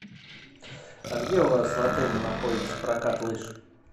а где у вас в отеле находится прокат лыж